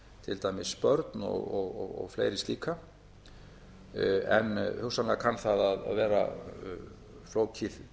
til dæmis börn og fleiri slíka en hugsanlega kann það að vera flókið